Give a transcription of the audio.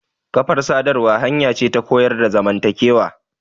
Kafar sadarwa hanya ce ta koyar da zamantakewa.